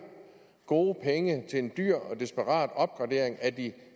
gode penge til en dyr og desperat opgradering af de